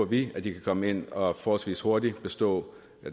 vi at de kan komme ind og forholdsvis hurtigt bestå